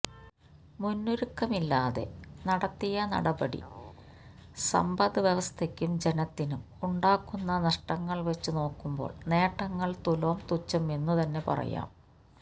മുന്നൊരുക്കമില്ലാതെ നടത്തിയ നടപടി സമ്പദ്വ്യവസ്ഥയ്ക്കും ജനത്തിനും ഉണ്ടാക്കുന്ന നഷ്ടങ്ങൾ വച്ചു നോക്കുമ്പോൾ നേട്ടങ്ങൾ തുലോം തുച്ഛം എന്നുതന്നെ പറയാം